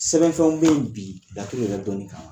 Sɛbɛn fɛnw bɛ ye bi laturu yɛrɛ dɔni kan.